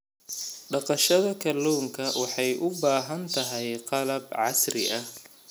Dhaqashada kalluunka waxay u baahan tahay qalab casri ah.